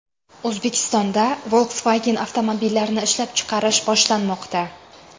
O‘zbekistonda Volkswagen avtomobillarini ishlab chiqarish boshlanmoqda.